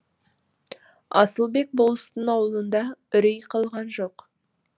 асылбек болыстың аулында үрей қалған жоқ